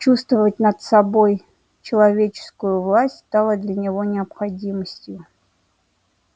чувствовать над собой человеческую власть стало для него необходимостью